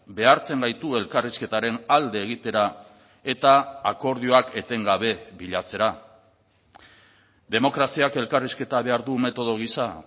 behartzen gaitu elkarrizketaren alde egitera eta akordioak etengabe bilatzera demokraziak elkarrizketa behar du metodo gisa